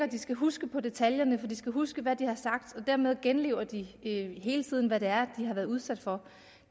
de skal huske på detaljerne for de skal huske hvad de har sagt og dermed genlever de hele tiden hvad det er de har været udsat for